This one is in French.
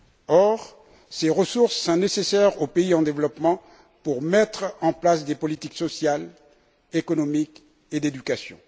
Or, ces ressources sont nécessaires aux pays en développement pour mettre en place des politiques sociales, économiques et d'éducation.